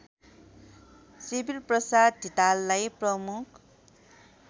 शिविरप्रसाद धिताललाई प्रमुख